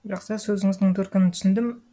жақсы сөзіңіздің төркінін түсіндім